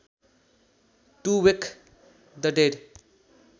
to wake the dead